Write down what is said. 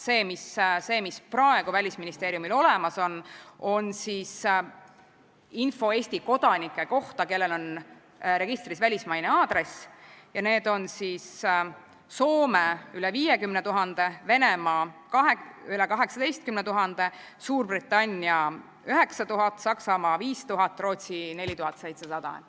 See, mis on praegu Välisministeeriumil olemas, on info Eesti kodanike kohta, kellel on registris välismaine aadress, ja need on Soome – üle 50 000, Venemaa – üle 18 000, Suurbritannia – 9000, Saksamaa – 5000, Rootsi – 4700.